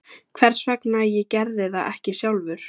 Hvers vegna ég gerði það ekki sjálfur?